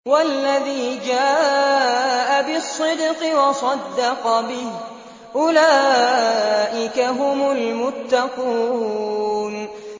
وَالَّذِي جَاءَ بِالصِّدْقِ وَصَدَّقَ بِهِ ۙ أُولَٰئِكَ هُمُ الْمُتَّقُونَ